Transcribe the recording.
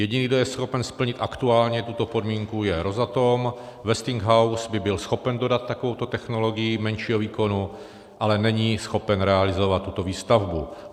Jediný, kdo je schopen splnit aktuálně tuto podmínku je Rosatom, Westinghouse by byl schopen dodat takovouto technologii menšího výkonu, ale není schopen realizovat tuto výstavbu.